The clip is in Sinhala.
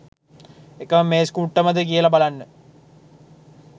එකම මේස් කුට්ටමද කියල බලන්න